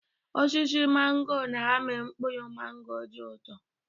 Osisi mangọ na-amị mkpụrụ mangọ dị ụtọ.